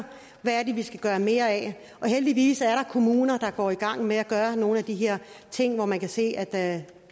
hvad det er vi skal gøre mere af og heldigvis er kommuner der går i gang med at gøre nogle af de her ting hvor man kan se at